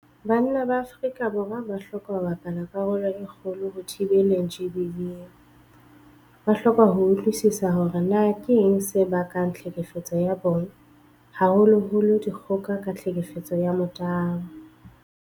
Banna ba Afrika Borwa ba hloka ho bapala karolo e kgolo ho thibeleng GBV. Ba hloka ho utlwisisa hore na keng se bakang tlhekefetso ya bong, haholoholo dikgoka ka tlhekefetso ya motabo.